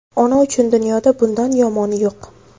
Ona uchun dunyoda bundan yomoni yo‘q.